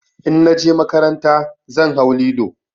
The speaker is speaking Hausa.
In na je makaranta zan hau lilo.